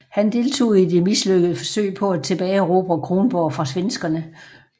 Han deltog i det mislykkelige forsøg på at tilbageerobre Kronborg fra svenskerne